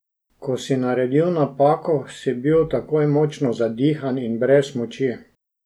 Ko si naredil napako, si bil takoj močno zadihan in brez moči.